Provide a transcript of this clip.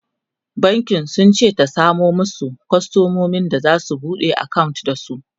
bankin sunce ta samo masu kwastamomi da zasu buɗe akawunt da su